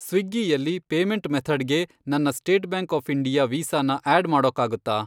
ಸ್ವಿಗ್ಗಿಯಲ್ಲಿ payment ಮೆಥಡ್ಗೆ ನನ್ನ state bank of India ವೀಸಾನ ಆ್ಯಡ್ ಮಾಡೋಕ್ಕಾಗುತ್ತಾ ?